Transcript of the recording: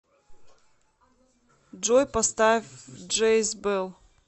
джой поставь джей збел